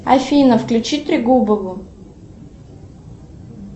афина включи трегубова